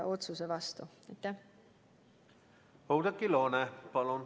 Oudekki Loone, palun!